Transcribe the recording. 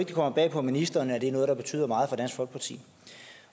det kommer bag på ministeren at det er noget der betyder meget for dansk folkeparti